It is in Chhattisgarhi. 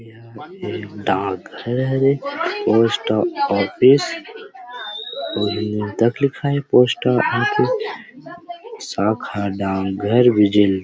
एहा डाक घर हरे पोस्ट ऑफिस तक लिखाए हे पोस्ट ऑफिस शाखा डाकघर भी जेल --